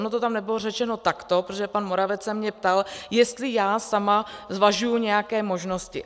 Ono to tam nebylo řečeno takto, protože pan Moravec se mě ptal, jestli já sama zvažuji nějaké možnosti.